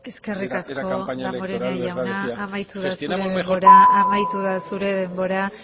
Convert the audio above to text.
ortuzar campaña electoral les da de sí gestionamos mejor eskerrik asko damborenea jauna amaitu da zure denbora